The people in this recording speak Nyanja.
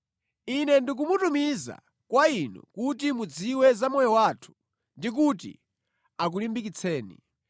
Ine ndikumutumiza kwa inu, kuti mudziwe za moyo wathu, ndi kuti akulimbikitseni.